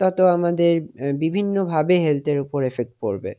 তত আমাদের বিভিন্নভাবে health এর উপরে পড়বে.